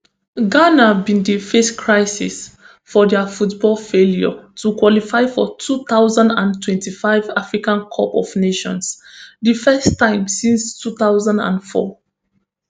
ghana bin dey face crisis for dia football failure to qualify for two thousand and twenty-five africa cup of nations di first time since two thousand and four